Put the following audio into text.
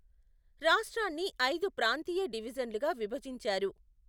రాష్ట్రాన్ని ఐదు ప్రాంతీయ డివిజన్లుగా విభజించారు.